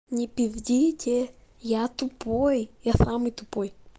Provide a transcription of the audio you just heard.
не пиздите я тупой я самый тупой